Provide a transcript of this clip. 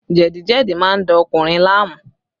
Jẹ̀díjẹ̀dí má ń da ọkùnrin láàmú